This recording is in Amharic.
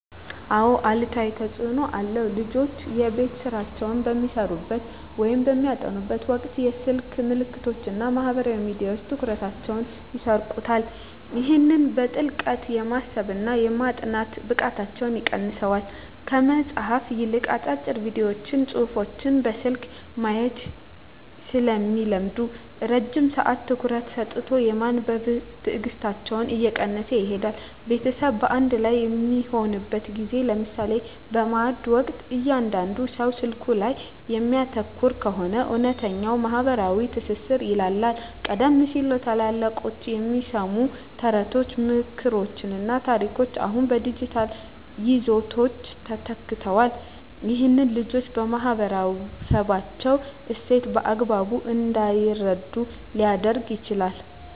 አዎ አሉታዊ ተፅኖ አለው። ልጆች የቤት ሥራቸውን በሚሠሩበት ወይም በሚያጠኑበት ወቅት የስልክ መልእክቶችና ማኅበራዊ ሚዲያዎች ትኩረታቸውን ይሰርቁታል። ይህም በጥልቀት የማሰብና የማጥናት ብቃታቸውን ይቀንሰዋል። ከመጽሐፍት ይልቅ አጫጭር ቪዲዮዎችንና ጽሑፎችን በስልክ ማየት ስለሚለምዱ፣ ረጅም ሰዓት ትኩረት ሰጥቶ የማንበብ ትዕግሥታቸው እየቀነሰ ይሄዳል። ቤተሰብ በአንድ ላይ በሚሆንበት ጊዜ (ለምሳሌ በማዕድ ወቅት) እያንዳንዱ ሰው ስልኩ ላይ የሚያተኩር ከሆነ፣ እውነተኛው ማኅበራዊ ትስስር ይላላል። ቀደም ሲል ከታላላቆች የሚሰሙ ተረቶች፣ ምክሮችና ታሪኮች አሁን በዲጂታል ይዘቶች ተተክተዋል። ይህም ልጆች የማኅበረሰባቸውን እሴት በአግባቡ እንዳይረዱ ሊያደርግ ይችላል።